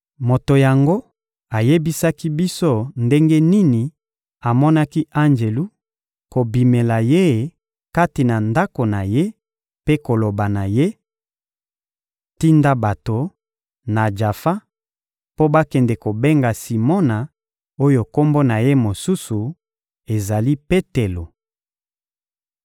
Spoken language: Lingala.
Moto yango ayebisaki biso ndenge nini amonaki anjelu kobimela ye kati na ndako na ye mpe koloba na ye: «Tinda bato, na Jafa, mpo bakende kobenga Simona oyo kombo na ye mosusu ezali Petelo.